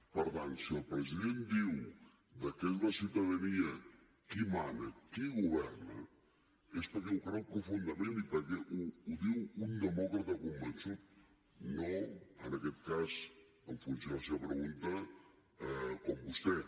per tant si el president diu que és la ciutadania qui mana qui governa és perquè ho creu profundament i perquè ho diu un demòcrata convençut no en aquest cas en funció de la seva pregunta com vostè